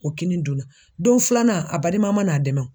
O kini dunna ,don filanan a baliman ma na a dɛmɛ